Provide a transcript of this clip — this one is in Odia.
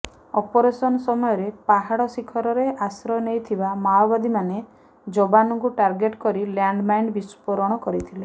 ଅପରେସନ୍ ସମୟରେ ପାହାଡ଼ ଶିଖରରେ ଆଶ୍ରୟ ନେଇଥିବା ମାଓବାଦୀମାନେ ଯବାନଙ୍କୁ ଟାର୍ଗେଟ୍ କରି ଲ୍ୟାଣ୍ଡମାଇନ୍ ବିସ୍ଫୋରଣ କରିଥିଲେ